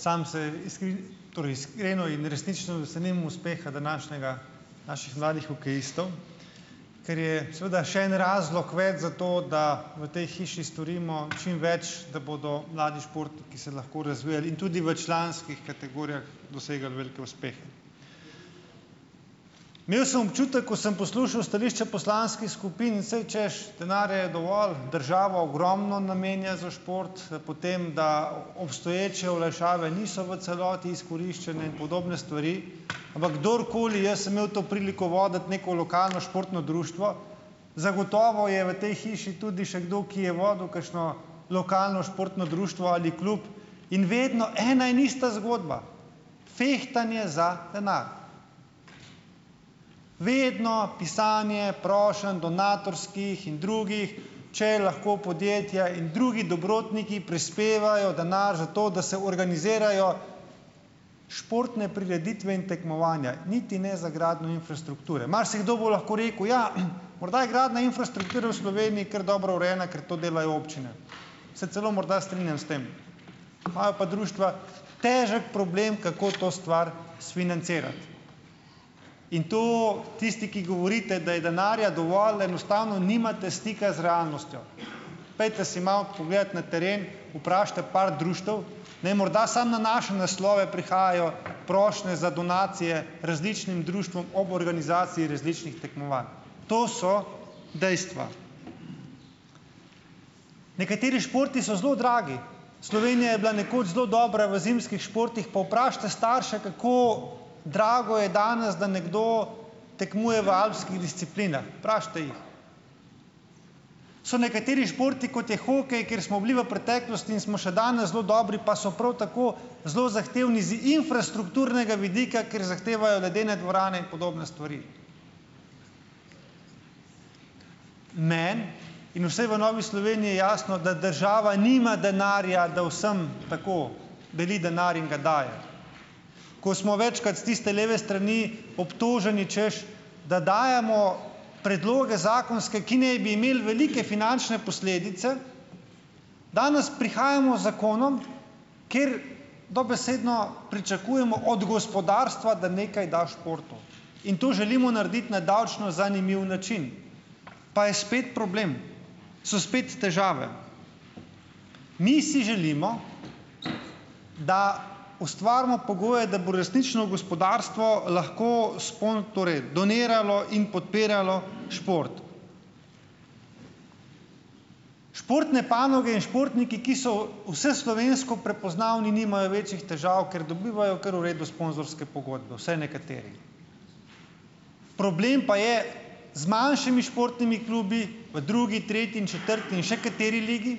Samo se torej iskreno in resnično veselim uspeha današnjega, naših mladih hokejistov, kar je seveda še en razlog več za to, da v tej hiši storimo čim več, da bodo mladi športniki se lahko razvijali in tudi v članskih kategorijah dosegali velike uspehe. Imel sem občutek, ko sem poslušal stališča poslanskih skupin, in saj hočeš, denarja je dovolj, država ogromno namenja za šport, potem da obstoječe olajšave niso v celoti izkoriščene in podobne stvari. Ampak kdorkoli, jaz sem imel to priliko voditi neko lokalno športno društvo, zagotovo je v tej hiši tudi še kdo, ki je vodil kakšno lokalno športno društvo ali klub, in vedno ena in ista zgodba - "fehtanje" za denar. Vedno pisanje prošenj, donatorskih in drugih, če lahko podjetja in drugi dobrotniki prispevajo denar za to, da se organizirajo športne prireditve in tekmovanja, niti ne za gradnjo infrastrukture. Marsikdo bo lahko rekel, ja, morda je gradnja infrastrukture v Sloveniji kar dobro urejena, ker to delajo občine. Se celo morda strinjam s tem. Imajo pa društva težek problem, kako to stvar sfinancirati in to, tisti, ki govorite, da je denarja dovolj, enostavno nimate stika z realnostjo. Pojdite si malo pogledat na teren, vprašajte par društev. Ne, morda samo na naše naslove prihajajo prošnje za donacije različnim društvom ob organizaciji različnih tekmovanj. To so dejstva. Nekateri športi so zelo dragi. Slovenija je bila nekoč zelo dobra v zimskih športih, pa vprašajte starše, kako drago je danes, da nekdo tekmuje v alpskih disciplinah. Vprašajte jih. So nekateri športi, kot je hokej, kjer smo bili v preteklosti in smo še danes zelo dobri, pa so prav tako zelo zahtevni z infrastrukturnega vidika, ker zahtevajo ledene dvorane in podobne stvari. Meni in vsem v Novi Sloveniji je jasno, da država nima denarja, da vsem, tako, deli denar in ga daje. Ko smo večkrat s tiste leve strani obtoženi, hočeš, da dajemo predloge, zakonske, ki naj bi imeli velike finančne posledice, danes prihajamo z zakonom, kjer dobesedno pričakujemo od gospodarstva, da nekaj da športu, in to želimo narediti na davčno zanimiv način, pa je spet problem, so spet težave. Mi si želimo, da ustvarimo pogoje, da bo resnično gospodarstvo lahko, torej, doniralo in podpiralo šport. Športne panoge in športniki, ki so vseslovensko prepoznavni nimajo večjih težav, ker dobivajo kar v redu sponzorske pogodbe, vsaj nekateri. Problem pa je z manjšimi športnimi klubi v drugi, tretji in četrti in še kateri ligi,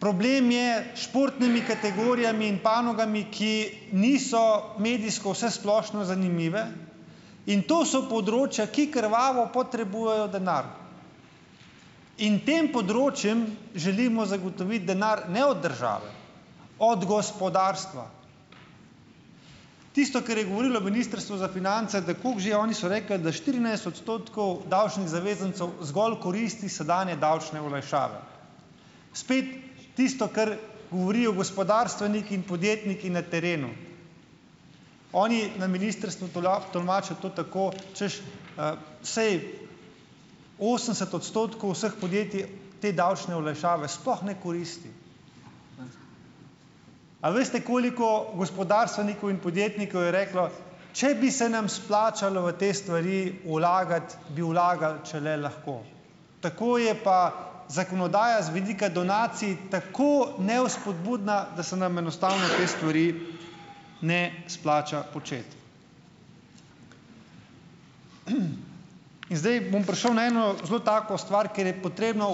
problem je s športnimi kategorijami in panogami, ki niso medijsko vsesplošno zanimive in to so področja, ki krvavo potrebujejo denar, in tem področjem želimo zagotoviti denar ne od države, od gospodarstva. Tisto, kar je govorilo Ministrstvo za finance, da koliko že oni so rekli, da štirinajst odstotkov davčnih zavezancev zgolj koristi sedanje davčne olajšave. Spet tisto, kar govorijo gospodarstveniki in podjetniki na terenu. Oni na ministrstvu tolmačijo to tako, češ, saj osemdeset odstotkov vseh podjetij, te davčne olajšave sploh ne koristi. A veste, koliko gospodarstvenikov in podjetnikov je reklo, če bi se nam splačalo v te stvari vlagati, bi vlagali, če le lahko. Tako je pa zakonodaja z vidika donacij tako nevzpodbudna, da se nam enostavno te stvari ne splača početi. In zdaj bom prišel na eno zelo tako stvar, kjer je potrebno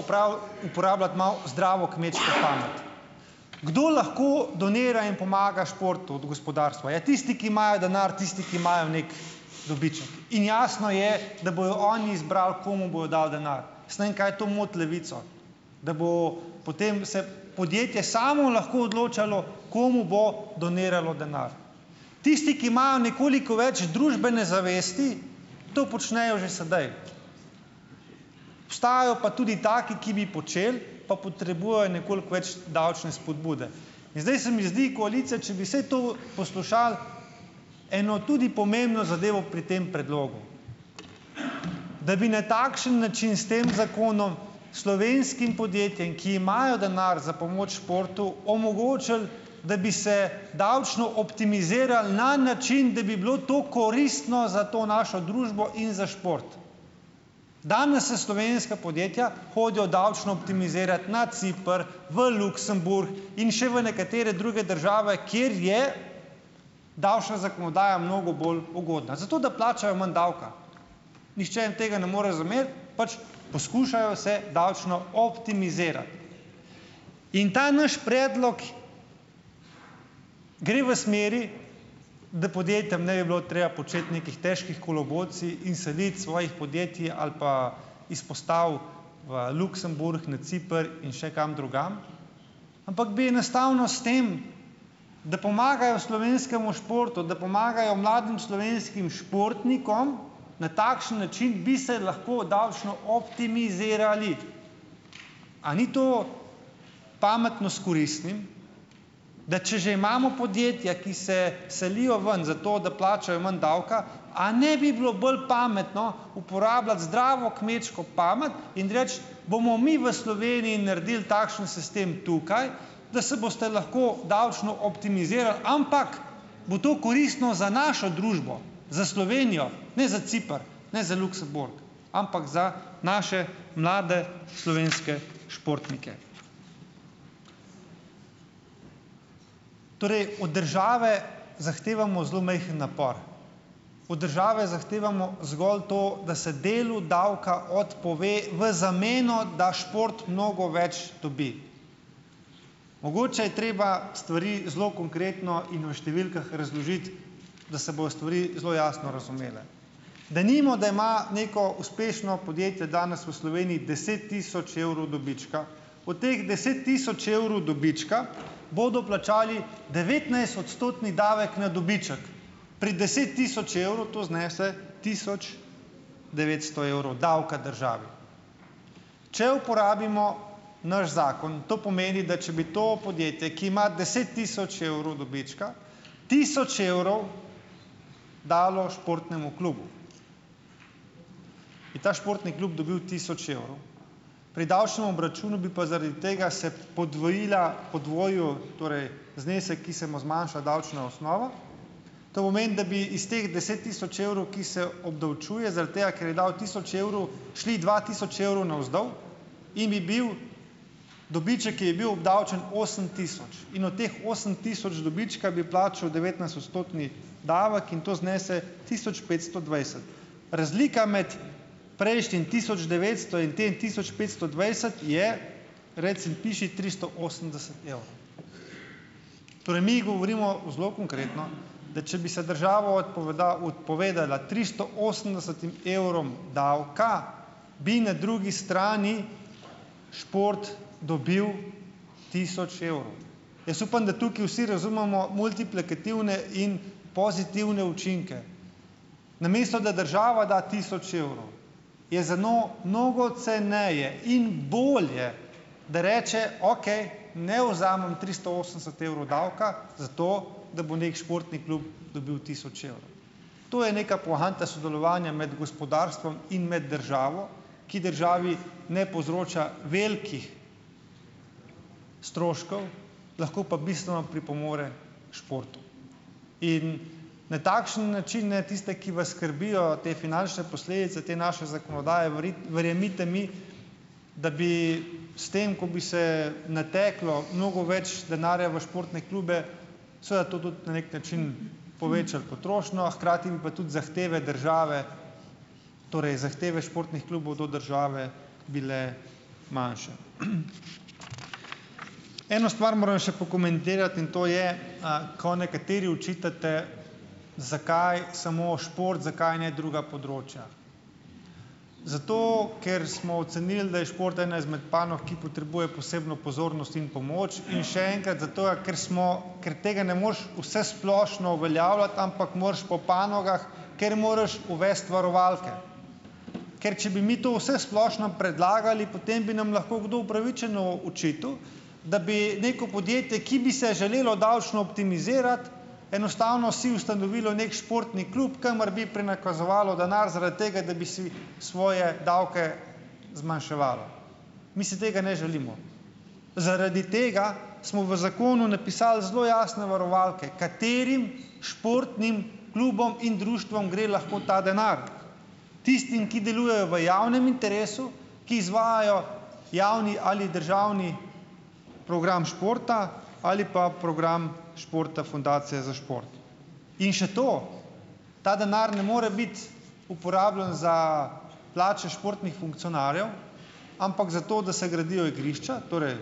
uporabljati malo zdravo kmečko pamet. Kdo lahko donira in pomaga športu od gospodarstva? Ja tisti, ki imajo denar, tisti, ki imajo neki dobiček. In jasno je, da bojo oni izbrali, komu bojo dali denar. Jaz ne vem, kaj to moti Levico. Da bo potem se podjetje samo lahko odločalo, komu bo doniralo denar. Tisti, ki imajo nekoliko več družbene zavesti, to počnejo že sedaj. Obstajajo pa tudi taki, ki bi počeli, pa potrebujejo nekoliko več davčne vzpodbude. In zdaj se mi zdi koalicija, če bi vsaj to poslušali, eno tudi pomembno zadevo pri tem predlogu. Da bi na takšen način s tem zakonom slovenskim podjetjem, ki imajo denar za pomoč športu omogočili, da bi se davčno optimizirali na način, da bi bilo to koristno za to našo družbo in za šport. Danes se slovenska podjetja hodijo davčno optimizirat na Ciper, v Luksemburg in še v nekatere druge države, kjer je davčna zakonodaja mnogo bolj ugodna. Zato da plačajo manj davka. Nihče jim tega ne more zameriti. Pač Poskušajo se davčno optimizirati. In ta naš predlog gre v smeri, da podjetjem ne bi bilo treba početi nekih težkih kolobocij in seliti svojih podjetij ali pa izpostav v Luksemburg, na Ciper in še kam drugam, ampak bi enostavno s tem, da pomagajo slovenskemu športu, da pomagajo mladim slovenskih športnikom. Na takšen način bi se lahko davčno optimizirali. A ni to pametno s koristnim? Da če že imamo podjetja, ki se selijo ven, zato da plačajo manj davka, a ne bi bilo bolj pametno uporabljati zdravo kmečko pamet in reči: "Bomo mi v Sloveniji naredili takšen sistem tukaj, da se boste lahko davčno optimizirali, ampak bo to koristno za našo družbo." Za Slovenijo, ne za Ciper, ne za Luksemburg, ampak za naše mlade slovenske športnike. Torej, od države zahtevamo zelo majhen napor. Od države zahtevamo zgolj to, da se delu davka odpove v zameno, da šport mnogo več dobi. Mogoče je treba stvari zelo konkretno in v številkah razložiti, da se bojo stvari zelo jasno razumele. Denimo, da ima neko uspešno podjetje danes v Sloveniji deset tisoč evrov dobička. Od teh deset tisoč evrov dobička bodo plačali devetnajstodstotni davek na dobiček. Pri deset tisoč evrov to znese tisoč devetsto evrov davka državi. Če uporabimo naš zakon, to pomeni, da če bi to podjetje, ki ima deset tisoč evrov dobička, tisoč evrov dalo športnemu klubu, bi ta športni klub dobil tisoč evrov pri davčnem obračunu, bi pa zaradi tega se podvojila, podvojil torej znesek, ki se mu zmanjša davčna osnova, to pomeni, da bi iz teh deset tisoč evrov, ki se obdavčuje, zaradi tega, ker je dal tisoč evrov, šli dva tisoč evrov navzdol in bi bil dobiček, ki je bil obdavčen, osem tisoč. In od teh osem tisoč dobička bi plačal devetnajstodstotni davek in to znese tisoč petsto dvajset. Razlika med prejšnjim tisoč devetsto in tem tisoč petsto dvajset, je reci in piši, tristo osemdeset evrov. Torej mi govorimo zelo konkretno, da če bi se država odpovedala tristo osemdesetim evrom davka, bi na drugi strani šport dobil tisoč evrov. Jaz upam, da tukaj vsi razumemo multiplikativne in pozitivne učinke. Namesto da država da tisoč evrov, je za njo mnogo ceneje in bolje, da reče: "Okej, ne vzamem tristo osemdeset evrov davka zato, da bo neki športni klub dobil tisoč evrov." To je neka poanta sodelovanja med gospodarstvom in med državo, ki državi ne povzroča velikih stroškov, lahko pa bistveno pripomore športu. In na takšen način naj tiste, ki vas skrbijo te finančne posledice te naše zakonodaje, verjemite mi, da bi s tem, ko bi se nateklo mnogo več denarja v športne klube, seveda to tudi na nek način povečalo potrošnjo, a hkrati bi pa tudi zahteve države, torej zahteve športnih klubov do države bile manjše. Eno stvar moram še pokomentirati in to je, ko nekateri očitate, zakaj samo šport, zakaj ne druga področja. Zato ker smo ocenili, da je šport ena izmed panog, ki potrebuje posebno pozornost in pomoč in še enkrat, zatoga ker smo, ker tega ne moreš vsesplošno uveljavljati, ampak moraš po panogah, ker moraš uvesti varovalke. Ker če bi mi to vsesplošno predlagali, potem bi nam lahko kdo upravičeno očital, da bi neko podjetje, ki bi se želelo davčno optimizirati, enostavno si ustanovilo neki športni klub, kamor bi prenakazovalo denar zaradi tega, da bi si svoje davke zmanjševalo. Mi si tega ne želimo. Zaradi tega smo v zakonu napisali zelo jasno varovalke, katerim športnim klubom in društvom gre lahko ta denar. Tistim, ki delujejo v javnem interesu, ki izvajajo javni ali državni program športa ali pa program športa fundacije za šport. In še to, ta denar ne more biti uporabljan za plače športnih funkcionarjev, ampak za to, da se gradijo igrišča, torej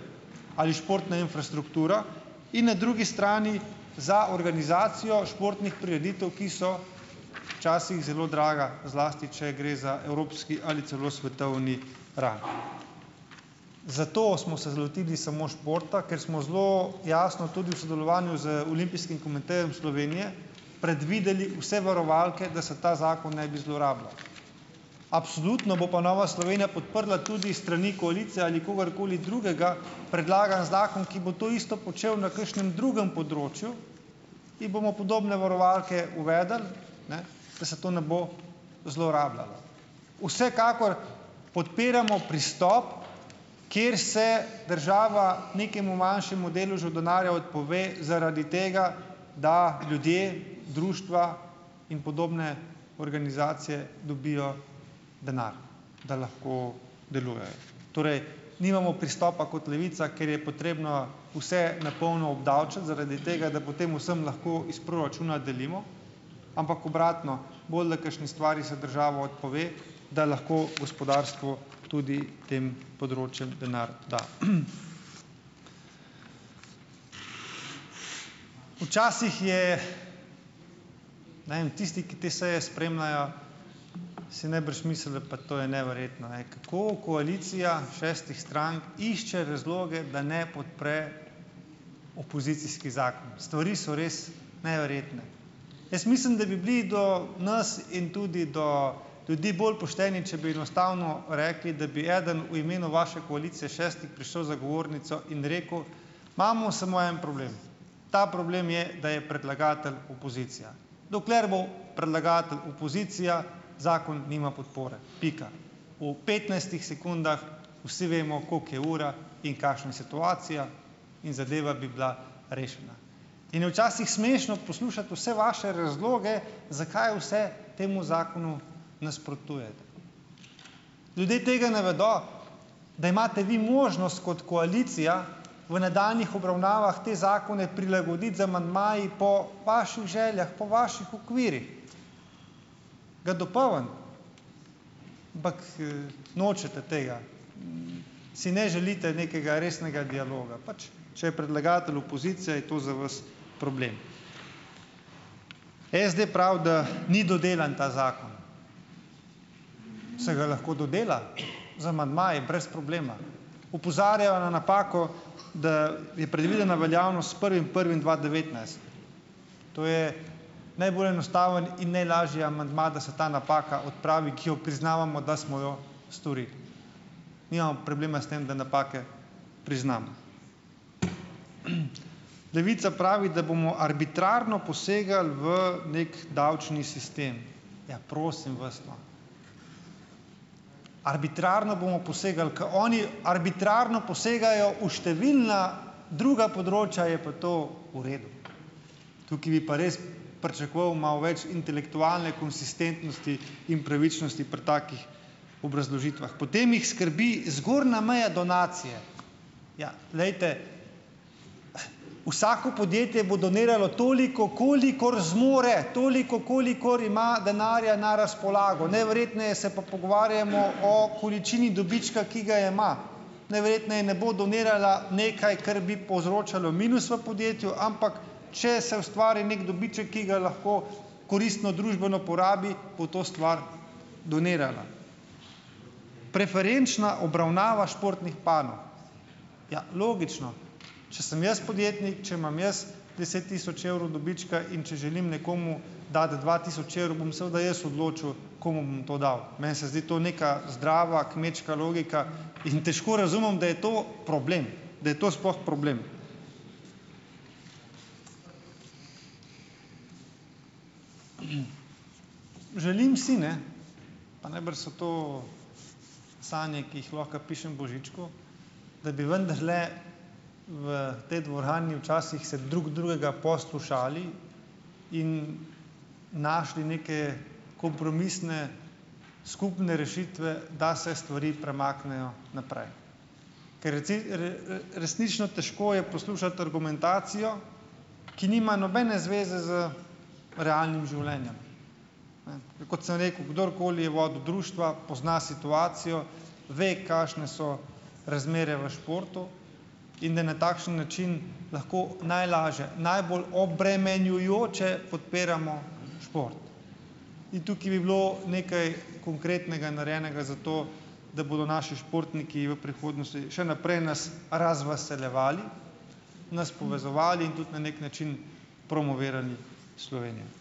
ali športna infrastruktura in na drugi strani za organizacijo športnih prireditev, ki so včasih zelo draga, zlasti če gre za evropski ali celo svetovni rang. Zato smo se lotili samo športa, ker smo zelo jasno tudi v sodelovanju z Olimpijskim komitejem Slovenije predvideli vse varovalke, da se ta zakon ne bi zlorabljal. Absolutno bo pa Nova Slovenija podprla tudi s strani koalicije ali kogarkoli drugega predlagan zakon, ki bo to isto počel na kakšnem drugem področju in bomo podobne varovalke uvedli, ne, da se to ne bo zlorabljalo. Vsekakor podpiramo pristop, kjer se država nekemu manjšemu deležu denarja odpove zaradi tega, da ljudje, društva in podobne organizacije dobijo denar, da lahko delujejo. Torej nimamo pristopa kot Levica, ker je potrebno vse na polno obdavčiti zaradi tega, da potem vsem lahko iz proračuna delimo, ampak obratno, bolj da kakšni stvari se država odpove, da lahko gospodarstvo tudi tem področjem denar da. Včasih je, ne vem, tisti, ki te seje spremljajo, si najbrž mislijo, pa to je neverjetno, ej, kako koalicija šestih strank išče razloge, da ne podpre opozicijskih zakonov. Stvari so res neverjetne. Jaz mislim, da bi bili do nas in tudi do ljudi bolj pošteni, če bi enostavno rekli, da bi eden v imenu vaše koalicije šestih prišel za govornico in rekel, imamo samo en problem, ta problem je, da je predlagatelj opozicija. Dokler bo predlagatelj opozicija, zakon nima podpore. Pika. V petnajstih sekundah vsi vemo, koliko je ura in kakšna je situacija, in zadeva bi bila rešena. In je včasih smešno poslušati vse vaše razloge, zakaj vse temu zakonu nasprotujete. Ljudje tega ne vedo, da imate vi možnost kot koalicija v nadaljnjih obravnavah te zakone prilagoditi z amandmaji po vaših željah, po vaših okvirih, ga dopolniti, ampak nočete tega, si ne želite nekega resnega dialoga. Pač, če je predlagatelj opozicija, je to za vas problem. SD pravi, da ni dodelan ta zakon. Se ga lahko dodela. Z amandmaji, brez problema. Opozarjajo na napako, da je predvidena veljavnost s prvim prvim dva devetnajst. To je najbolj enostaven in najlažji amandma, da se ta napaka odpravi, ki jo priznavamo, da smo jo storili. Nimamo problema s tem, da napake priznam. Levica pravi, da bomo arbitrarno posegali v neki davčni sistem. Ja, prosim vas, no. Arbitrarno bomo posegali, ker oni arbitrarno posegajo v številna druga področja, je pa to v redu. Tukaj bi pa res pričakoval malo več intelektualne konsistentnosti in pravičnosti pri takih obrazložitvah. Potem jih skrbi zgornja meja donacije. Ja, glejte - vsako podjetje bo doniralo toliko, kolikor zmore. Toliko, kolikor ima denarja na razpolago. Najverjetneje se pa pogovarjamo o količini dobička, ki ga ima. Najverjetneje ne bo donirala nekaj, kar bi povzročalo minus v podjetju, ampak če se ustvari nek dobiček, ki ga lahko koristno družbeno porabi, bo to stvar donirala. Preferenčna obravnava športnih panog. Ja - logično. Če sem jaz podjetnik, če imam jaz deset tisoč evrov dobička in če želim nekomu dati dva tisoč evrov, bom seveda jaz odločil, komu bom to dal. Meni se zdi to neka zdrava kmečka logika. In težko razumem, da je to problem. Da je to sploh problem. Želim si, ne - pa najbrž so to sanje, ki jih lahko pišem Božičku - da bi vendarle v potem dvorani včasih se drug drugega poslušali in našli neke kompromisne, skupne rešitve, da se stvari premaknejo naprej. Ker resnično težko je poslušati argumentacijo, ki nima nobene zveze z realnim življenjem, ne, kot sem rekel - kdorkoli je vodil društva, pozna situacijo. Ve, kakšne so razmere v športu. In da na takšen način lahko najlaže - najbolj obremenjujoče podpiramo šport. In tukaj bi bilo nekaj konkretnega narejenega za to, da bodo naši športniki v prihodnosti še naprej nas razveseljevali, nas povezovali in tudi na neki način promovirali Slovenijo.